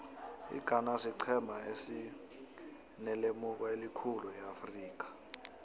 ighana siqhema esinelemuko elikhulu eafrika